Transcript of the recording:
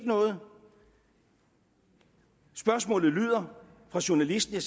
noget spørgsmålet lyder fra journalisten